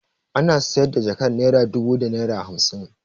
Ana sayar da jakar naira dubu da naira hamsin.